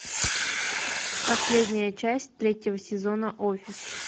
последняя часть третьего сезона офис